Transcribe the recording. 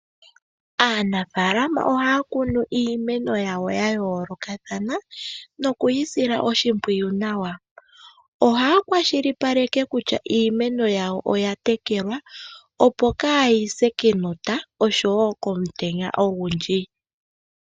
Aanafaalama ohaya kunu iimeno yawo ya yoolokathana noku yi sila oshimpwiyu nawa. Ohaya kwashilipaleke kutya iimeno oya tekelwa opo kaayise kenota osho woo komutenya ogundji.